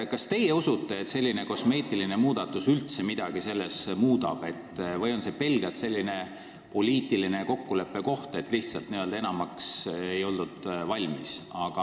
Kas te usute, et selline kosmeetiline muudatus üldse midagi muudab või on see pelgalt poliitiline kokkuleppe, kuna lihtsalt enamaks ei oldud valmis?